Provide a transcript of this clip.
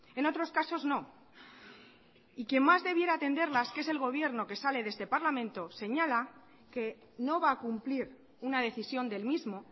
en otros casos no y quien más debiera atenderlas que es el gobierno que sale de este parlamento señala que no va a cumplir una decisión del mismo